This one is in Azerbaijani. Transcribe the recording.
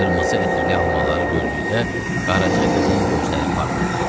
Qırmızı ətirli almaları gördükdə, Qaraca qızın gözləri parladı.